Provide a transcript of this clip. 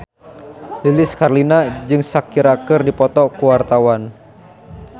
Lilis Karlina jeung Shakira keur dipoto ku wartawan